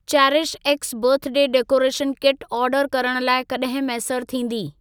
CherishX birthday decoration kit order करण लाइ कॾहिं मैसर थींदी?